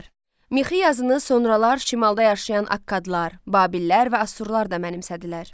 Mixi yazını sonralar şimalda yaşayan akkadlar, babillər və asurlular da mənimsədilər.